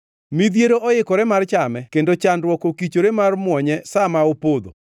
Midhiero oikore mar chame kendo chandruok okichore mar muonye sa ma opodho.